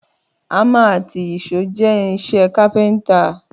Àmà àtí ìṣó jẹ ìrínsẹ kàpẹńtà.